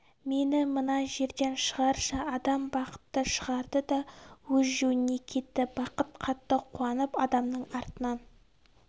мені мына жерден шығаршы адам бақытты шығарды да өз жөніне кетті бақыт қатты қуанып адамның артынан